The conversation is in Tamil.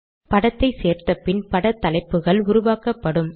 படத்தை சேர்த்தபின் பட தலைப்புகள் உருவாக்கப்படும்